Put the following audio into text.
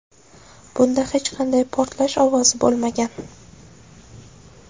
Bunda hech qanday portlash ovozi bo‘lmagan.